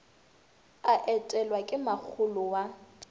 a etelwa ke makgolo wa